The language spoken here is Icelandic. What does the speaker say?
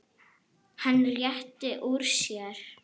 Hann rétti úr sér.